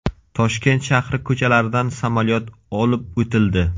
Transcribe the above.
Toshkent shahri ko‘chalaridan samolyot olib o‘tildi.